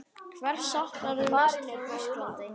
Hvers saknarðu mest frá Íslandi?